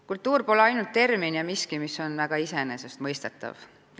Kultuur pole ainult termin ja miski, mis on väga iseenesestmõistetav.